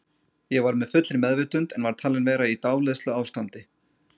Ég var með fullri meðvitund en var talin vera í dáleiðsluástandi.